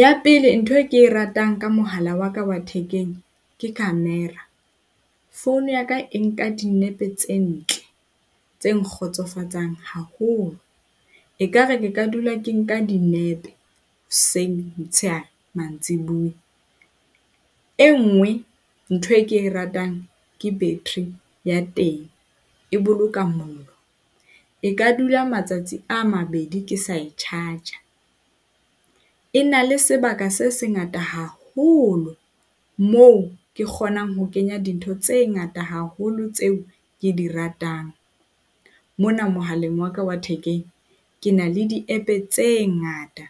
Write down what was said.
Ya pele ntho e ke e ratang ka mohala wa ka wa thekeng ke camera. Founu ya ka e nka dinepe tse ntle tse nkgotsofatsang haholo. Ekare ke ka dula ke nka dinepe hoseng, motshehare, mantsibuya. E nngwe ntho e ke e ratang ke battery ya teng. E boloka mollo, e ka dula matsatsi a mabedi ke sa e charge-a. E na le sebaka se sengata haholo moo ke kgonang ho kenya dintho tse ngata haholo tseo ke di ratang. Mona mohaleng wa ka wa thekeng ke na le di-App tse ngata,